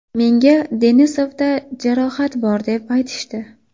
Menga Denisovda jarohat bor deb aytishdi.